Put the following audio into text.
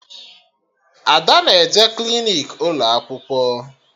Ada na-eje klinik ụlọ akwụkwọ